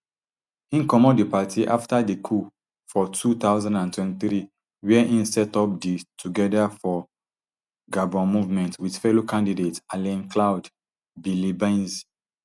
im comot di party afta di coup for two thousand and twenty-three wia im set up di together for gabon movement wit fellow candidate alain claude biliebynze